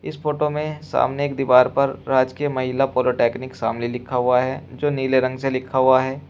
इस फोटो में सामने एक दीवार पर राजकीय महिला पॉलिटेक्निक शामली लिखा हुआ है जो नीले रंग से लिखा हुआ है।